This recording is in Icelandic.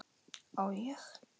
Á ég?